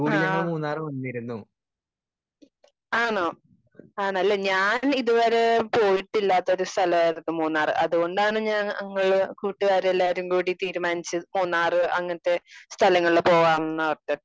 Speaker 2 ആഹ്. ആണോ? ആണല്ലേ? പോയിട്ടില്ലാത്തൊരു സ്ഥലായിരുന്നു മൂന്നാറ്. അതുകൊണ്ടാണ് ഞാൻ ഞങ്ങള് കൂട്ടുകാരെല്ലാരും കൂടി തീരുമാനിച്ച് മൂന്നാറ് അങ്ങനത്തെ സ്ഥലങ്ങളില് പോവ്വാന്ന് പറഞ്ഞത്.